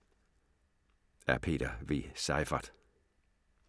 Af Peter V. Seyfarth